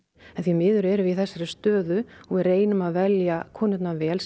því miður erum við í þessari stöðu og við reynum að velja konurnar vel